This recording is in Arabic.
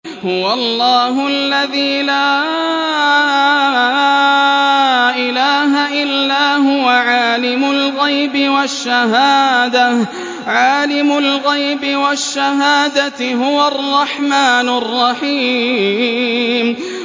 هُوَ اللَّهُ الَّذِي لَا إِلَٰهَ إِلَّا هُوَ ۖ عَالِمُ الْغَيْبِ وَالشَّهَادَةِ ۖ هُوَ الرَّحْمَٰنُ الرَّحِيمُ